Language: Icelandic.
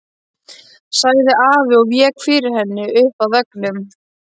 sagði afi og vék fyrir henni upp að veggnum.